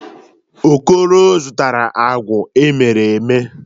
Okoro zụtara agwa emere eme.